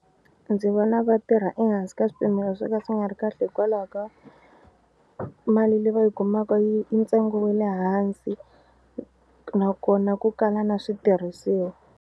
Ndzi vona vatirha ehansi ka swipimelo swo ka swi nga ri kahle hikwalaho ka mali leyi va yi kumaka yi i ntsengo wa le hansi nakona ku kala na switirhisiwa.